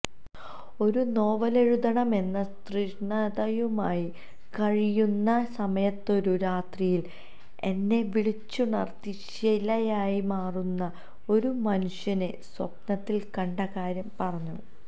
ഒരു നോവലെഴുതണമെന്ന തൃഷ്ണയുമായി കഴിയുന്ന സമയത്തൊരു രാത്രിയിൽ എന്നെ വിളിച്ചുണർത്തി ശിലയായി മാറുന്ന ഒരു മനുഷ്യനെ സ്വപ്നത്തിൽ കണ്ടകാര്യം പറഞ്ഞു